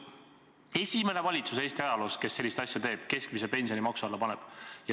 See on esimene valitsus Eesti ajaloos, kes sellist asja teeb, kes keskmise pensioni maksu alla paneb.